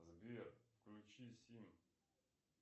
сбер включи сим